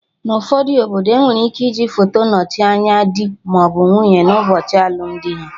Na ụfọdụ obodo, enwere ike iji foto nochie anya dị maọbụ nwunye na ụbọchị alụmdi ha